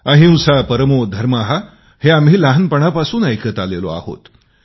अहिंसा परमो धर्मा हे आम्ही लहानपणापासून ऐकत आलेलो आहोत